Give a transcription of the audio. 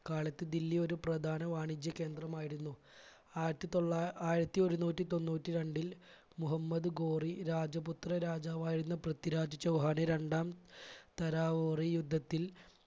കാലത്ത് ദില്ലി ഒരു പ്രധാന വാണിജ്യ കേന്ദ്രമായിരുന്നു. ആയിരത്തി തൊള്ള ആയിരത്തി ഒരുനൂറ്റി തൊണ്ണൂറ്റി രണ്ടിൽ മുഹമ്മദ് ഗോറി രാജപുത്ര രാജാവായിരുന്ന പൃഥ്വിരാജ് ചൗഹാനെ രണ്ടാം തരാവോറി യുദ്ധത്തിൽ